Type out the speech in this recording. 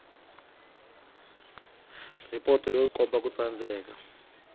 ripoto yo komba ku tsandzeka